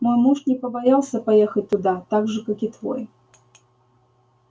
мой муж не побоялся поехать туда так же как и твой